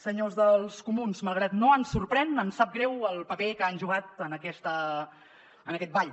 senyors dels comuns malgrat que no ens sorprèn ens sap greu el paper que han jugat en aquest ball